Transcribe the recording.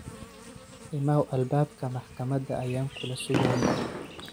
Imaw albabka maxkamada ayan kulasugaya.